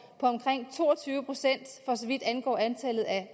på omkring to og tyve procent for så vidt angår antallet af